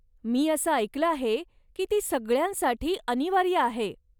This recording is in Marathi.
मी असं ऐकलं आहे की ती सगळ्यांसाठी अनिवार्य आहे.